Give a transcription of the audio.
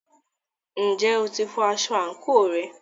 Ǹjẹ́ o ti fọ aṣọ àǹkóò rẹ?